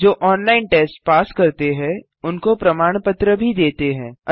जो online test pass करते हैं उनको प्रमाण पत्र भी देते हैं